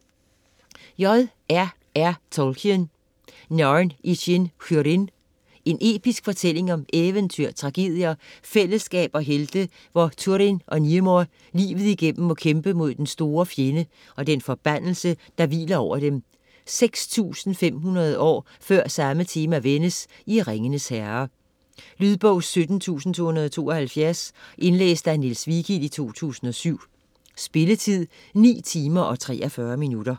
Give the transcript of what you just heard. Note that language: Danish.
Tolkien, J. R. R.: Narn i chîn Húrin En episk fortælling om eventyr, tragedier, fællesskab og helte, hvor Turin og Niemor livet igennem må kæmpe mod den store fjende og den forbandelse, der hviler over dem, 6.500 år før samme tema vendes i Ringenes herre. Lydbog 17272 Indlæst af Niels Vigild, 2007. Spilletid: 9 timer, 43 minutter.